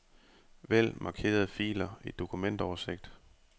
Vælg markerede filer i dokumentoversigt.